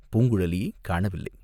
பூங்குழலிக் காணவில்லை.